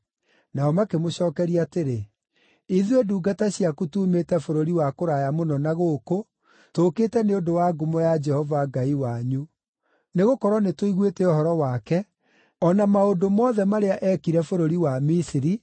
Nao makĩmũcookeria atĩrĩ, “Ithuĩ ndungata ciaku tuumĩte bũrũri wa kũraya mũno na gũkũ, tũũkĩte nĩ ũndũ wa ngumo ya Jehova Ngai wanyu. Nĩgũkorwo nĩtũiguĩte ũhoro wake: o na maũndũ mothe marĩa eekire bũrũri wa Misiri,